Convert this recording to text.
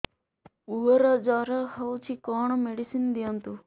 ପୁଅର ଜର ହଉଛି କଣ ମେଡିସିନ ଦିଅନ୍ତୁ